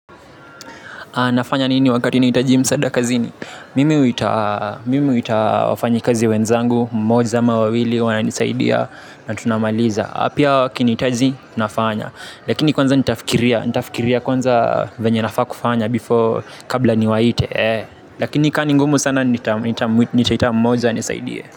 Nafanya nini wakati nahitaji msaada kazini mimi. Mimi huta wafanyikazi wenzangu, mmoja ama wawili, wana nisaidia na tunamaliza. Pia wakinihitaji, nafanya. Lakini kwanza nitafikiria, nitafikiria kwanza venye nafaa kufanya before kabla ni waite. Lakini ka ningumu sana, nitaita mmoja anisaidie.